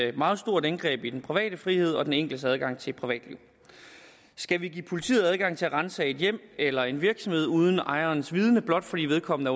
et meget stort indgreb i den private frihed og den enkeltes adgang til et privatliv skal vi give politiet adgang til at ransage et hjem eller en virksomhed uden ejerens vidende blot fordi vedkommende